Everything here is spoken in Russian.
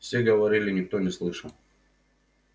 все говорили никто не слышал